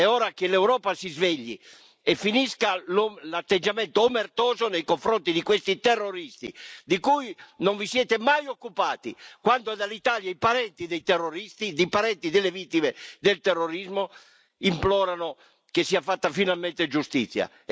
È ora che l'Europa si svegli e finisca l'atteggiamento omertoso nei confronti di questi terroristi di cui non vi siete mai occupati, quando dall'Italia i parenti delle vittime del terrorismo implorano che sia fatta finalmente giustizia.